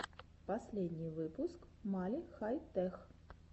последний выпуск мали хай тех